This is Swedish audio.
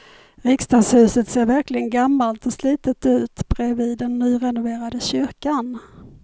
Riksdagshuset ser verkligen gammalt och slitet ut bredvid den nyrenoverade kyrkan.